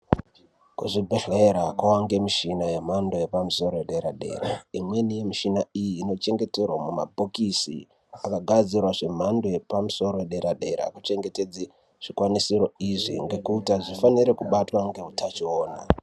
Kuzvibhedhlera kawangemishina yemhando yepamusoro yedera dera, imweni mishina iyi inochengeterwa mumabhokisi akagadzirwa zvemhando yepamusoro yedera dera kuchengetedze zvikwanisiro izvi ngekuti azvifaniri kubatwa ngeutachiona.